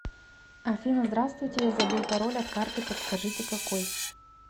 афина здравствуйте я забыл пароль от карты подскажите какой